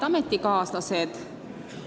Head ametikaaslased!